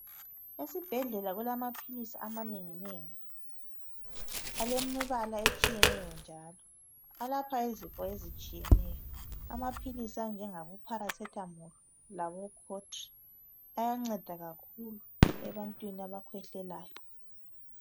Esibhedlela kulama philisi amanengi nengi alemibala etshiyeneyo njalo. Alapha izifo ezitshiyeneyo amaphilisi anjengabo pharasethamolu labo khotri ayanceda kakhulu ebantwini abakhwehlelayo.